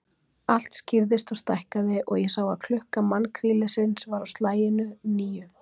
Allt skýrðist og stækkaði, og ég sá að klukka mannkrílisins var á slaginu níu.